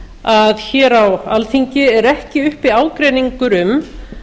að hér á alþingi er ekki uppi ágreiningur um